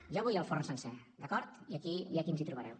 jo vull el forn sencer d’acord i aquí ens hi trobareu